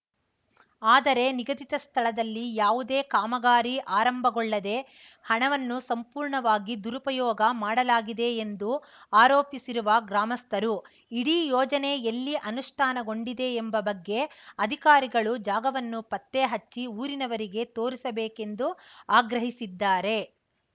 ಆದರೆ ನಿಗದಿತ ಸ್ಥಳದಲ್ಲಿ ಯಾವುದೇ ಕಾಮಗಾರಿ ಆರಂಭಗೊಳ್ಳದೆ ಹಣವನ್ನು ಸಂಪೂರ್ಣವಾಗಿ ದುರುಪಯೋಗ ಮಾಡಲಾಗಿದೆ ಎಂದು ಆರೋಪಿಸಿರುವ ಗ್ರಾಮಸ್ಥರು ಇಡೀ ಯೋಜನೆ ಎಲ್ಲಿ ಅನುಷ್ಠಾನಗೊಂಡಿದೆ ಎಂಬ ಬಗ್ಗೆ ಅಧಿಕಾರಿಗಳು ಜಾಗವನ್ನು ಪತ್ತೆಹಚ್ಚಿ ಊರಿನವರಿಗೆ ತೋರಿಸಬೇಕೆಂದು ಆಗ್ರಹಿಸಿದ್ದಾರೆ